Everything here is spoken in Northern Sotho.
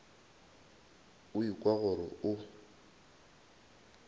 o a ikwa gore o